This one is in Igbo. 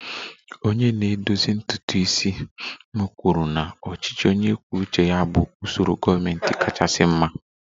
Onye na-edozi ntutu isi m kwuru na ọchịchị onye kwuo uche ya bụ usoro gọọmentị kachasị mma